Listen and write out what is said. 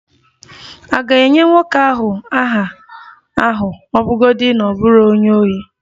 A ga-enye nwoke ahụ aha ahụ ọ bụrụgodị na ọ bụ onye ohi?